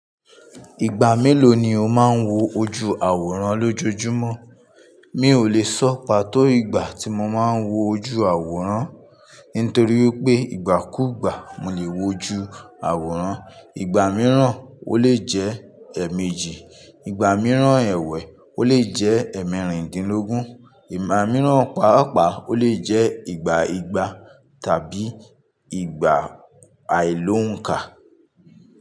Ìgbà mélòó ni o máa ń wo ojú àwòrán lójoojúmọ́? Mi ò lè sọ pàtó ìgbà tí mo máa ń wo ojú àwòrán nítorí pé ìgbàkúgbà mo lè wo ju àwòrán. Ìgbà mìíràn ó lè jẹ́ èèmejì, ìgbà mìíràn ẹ̀wẹ́ ó lè jẹ́ ẹ̀ẹ̀mẹ́rìndínlógún, ìgbà mìíràn paapaa ó lè jẹ́ ìgbà ìgbà tàbí ìgbà àìlóǹkà.